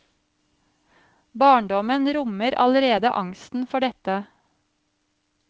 Barndommen rommer allerede angsten for dette.